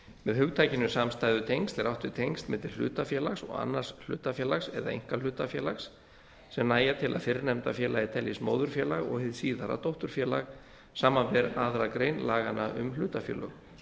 með hugtakinu samstæðutengsl er átt við tengsl milli hlutafélags og annars hlutafélags eða einkahlutafélags sem nægja til að fyrrnefnda félagið teljist móðurfélag og hið síðara dótturfélag samanber aðra grein laganna um hlutafélög